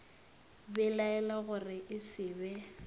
belaela gore e se be